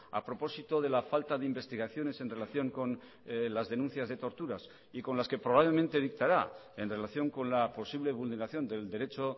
a propósito de la falta de investigaciones en relación con las denuncias de torturas y con las que probablemente dictará en relación con la posible vulneración del derecho